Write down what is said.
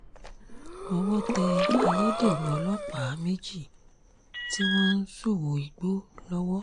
owó tẹ ayédèrú ọlọ́pàá méjì tí wọ́n ń ṣòwò igbó lọ́wọ́